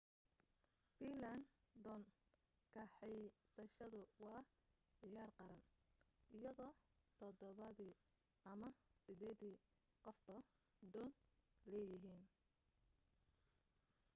fiinlaan doon kaxaysashadu waa ciyaar qaran iyadoo todobadii ama sideedii qofba doon leeyihiin